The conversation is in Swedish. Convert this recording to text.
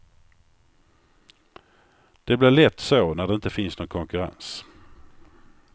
Det blir lätt så när det inte finns någon konkurrens.